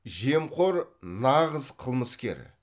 жемқор нағыз қылмыскер